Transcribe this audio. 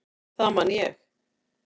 Það man ég.